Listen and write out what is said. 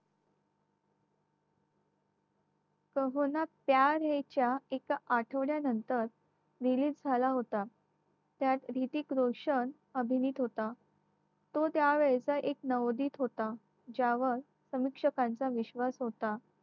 काहो ना प्यार हे च्या एका आठवड्यानंतर release झाला होता त्यात ह्रितिक रोशन अभिनीत होता तो त्या वेळेचा एक नवोदीप होता ज्यावर समीक्षकांचा विश्वास होता